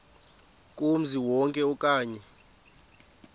kumzi wonke okanye